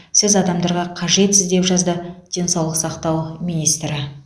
сіз адамдарға қажетсіз деп жазды денсаулық сақтау министрі